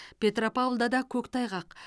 петропавлда да көктайғақ